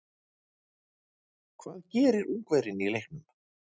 Hvað gerir Ungverjinn í leiknum?